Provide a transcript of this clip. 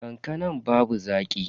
Kankanan babu zaki.